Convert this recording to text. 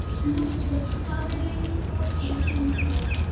Lúter, hvað er lengi opið í Byko?